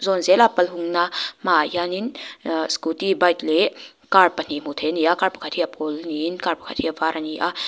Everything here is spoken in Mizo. zawn zela pal hungna hmaah hianin aa scooty leh car pahnih hmu thei a ni a car pakhat hi a pawl niin car pakhat hi a var a ni a.